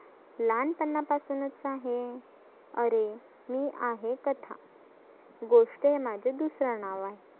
लहान पणा पासुनच आहे. आरे मी आहे कथा.